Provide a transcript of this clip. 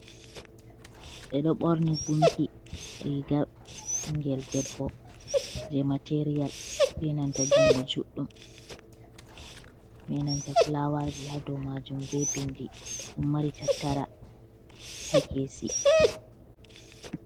Be ɗo ɓorni gunki riga ɓingel debbo je material be nanta jungo juɗɗum benanta fulawaji haɗomajum be bindi ɗon mari tattara ha kesi.